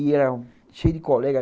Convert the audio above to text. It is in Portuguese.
E era cheio de colega.